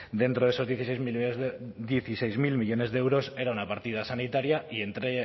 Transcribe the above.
dentro de esos dieciséis mil millónes de euros era una partida sanitaria y entre